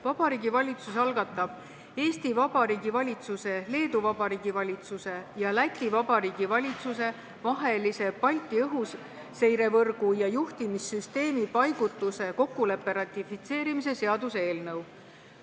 Vabariigi Valitsus algatab Eesti Vabariigi valitsuse, Leedu Vabariigi valitsuse ja Läti Vabariigi valitsuse vahelise Balti õhuseirevõrgu ja juhtimissüsteemi paigutuse kokkuleppe ratifitseerimise seaduse eelnõu.